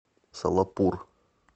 солапур